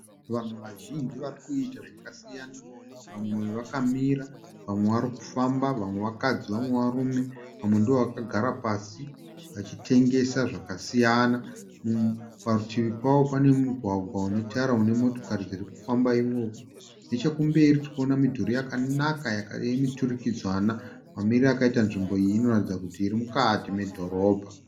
Vanhu vazhinji vari kuita zvakasiyana. Vamwe vakamira vamwe varikufamba. Vamwe vakadzi vamwe varume. Vamwe ndovakagara pasi vachitengesa zvakasiyana. Parutivi pavo pane mugwagwa unetara une motokari dzirikufamba imomo. Nechekumberi tiri kuona midhuri yakanaka yemiturikidzanwa. Mamiriro akaita nzvimbo iyi inoratidza kuti iri mukati medhorobha.